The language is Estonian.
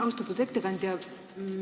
Austatud ettekandja!